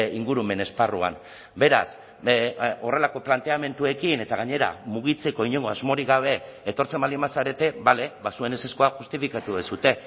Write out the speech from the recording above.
ingurumen esparruan beraz horrelako planteamenduekin eta gainera mugitzeko inongo asmorik gabe etortzen baldin bazarete bale ba zuen ezezkoa justifikatu duzue